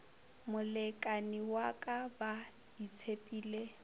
molekani wa ka ba itshepile